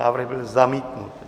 Návrh byl zamítnut.